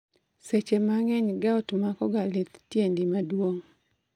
Seche mang'eny gout mako ga lith tiedi maduong'